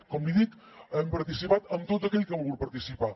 com li dic hem participat amb tot aquell que ha volgut participar